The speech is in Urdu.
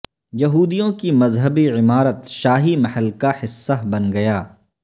یہودیوں کی مذہبی عمارت شاہی محل کا حصہ بن گیا